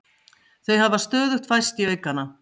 Þau hafa stöðugt færst í aukana